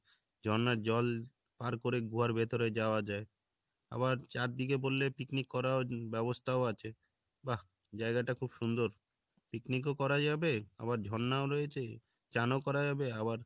ঝর্নার জল পার করে গুহার ভেতরে যাওয়া যাই আবার চারদিকে বললে picnic করাও ব্যাবস্থাও আছে বাহ জায়গাটা খুব সুন্দর picnic ও করা যাবে আবার ঝর্ণাও রয়েছে চানও করা যাবে আবার